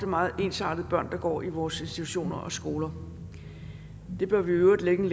meget ensartede børn der går i vores institutioner og skoler det bør vi i øvrigt lægge en